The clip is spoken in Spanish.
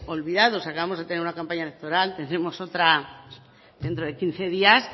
olvidados acabamos de tener una campaña electoral tendremos otra dentro de quince días